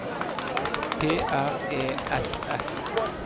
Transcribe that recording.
P R E S S